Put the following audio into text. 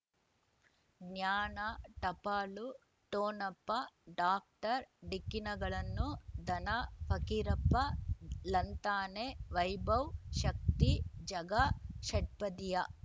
ಜ್ಞಾನ ಟಪಾಲು ಠೊಣಪ ಡಾಕ್ಟರ್ ಢಿಕ್ಕಿ ಣಗಳನು ಧನ ಫಕೀರಪ್ಪ ಳಂತಾನೆ ವೈಭವ್ ಶಕ್ತಿ ಝಗಾ ಷಟ್ಪದಿಯ